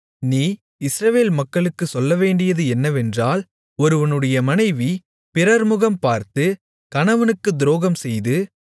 நீ இஸ்ரவேல் மக்களுக்குச் சொல்லவேண்டியது என்னவென்றால் ஒருவனுடைய மனைவி பிறர்முகம் பார்த்து கணவனுக்குத் துரோகம்செய்து